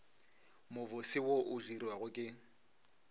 mobose wo o dirwago ke